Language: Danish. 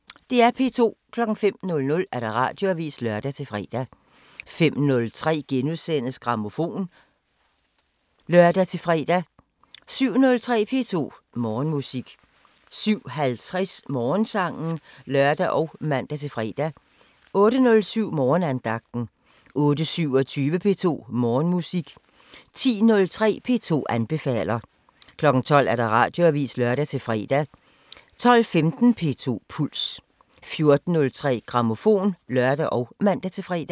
05:00: Radioavisen (lør-fre) 05:03: Grammofon *(lør-fre) 07:03: P2 Morgenmusik 07:50: Morgensangen (lør og man-fre) 08:07: Morgenandagten 08:27: P2 Morgenmusik 10:03: P2 anbefaler 12:00: Radioavisen (lør-fre) 12:15: P2 Puls 14:03: Grammofon (lør og man-fre)